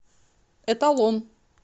эталон